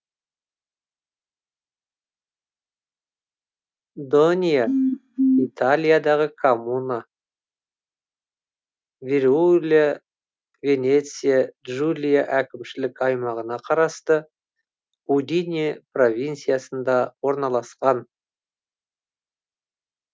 донья италиядағы коммуна фриули венеция джулия әкімшілік аймағына қарасты удине провинциясында орналасқан